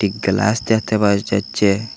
এ কেলাস দেখতে পাওয়া যা-যাচ্চে ।